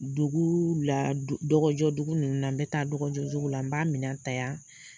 Dugu la dɔgɔjɔ dugu ninnu na n bɛ taa dɔgɔjɔ dugu la n b'a minɛ ta yan.